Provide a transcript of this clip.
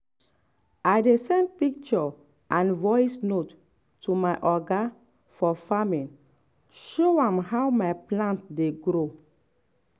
i dey send picture and voice note to my oga for farming show am how my plant dey grow.